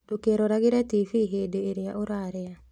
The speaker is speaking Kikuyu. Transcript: Ndũkeroragĩre tibii hĩndĩ ĩrĩa ũrarĩa